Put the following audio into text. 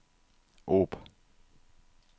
Ob